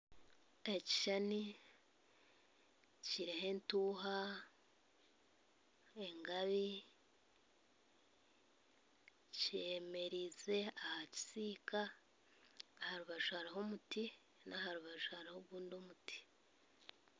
Ekishushani kiriho entuuha engabi kyemereziibwe aha kisiika aha rubaju hariho omuti naha rubaju hariho ogundi omuti